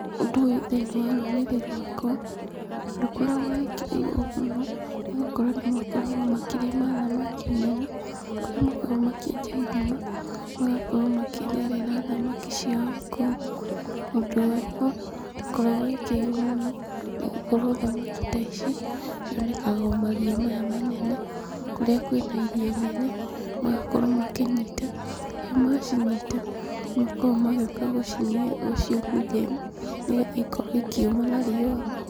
Ũndũ ũyũ thĩiniĩ wa rũrĩrĩ rwakwa, ndũkoragwo wĩkĩrĩirwo mũno, nĩgũkorwo andũ makoragwo makĩrĩma thamaki nene kũrĩa makoragwo makĩenja ithima, magakorwo makĩrerera thamaki ciao kũu. Ũndũ ũyũ, ndũkoragwo wĩkĩrĩirwo mũno, nĩgũkorwo thamaki ta ici, cionekaga o maria maya manene, kũrĩa kwĩ na iria inene, magakorwo makĩnyita, rĩrĩa macinyita nĩmakoragwo magĩũka gũciũmithia, nĩgetha ikorwo ikĩũma na riũa.